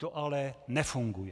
To ale nefunguje."